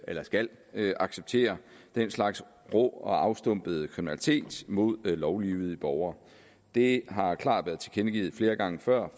eller skal acceptere den slags rå og afstumpede kriminalitet mod lovlydige borgere det har klart været tilkendegivet flere gange før